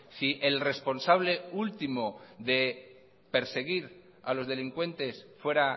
si el responsable último de perseguir a los delincuentes fuera